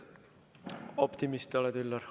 Optimist oled, Üllar.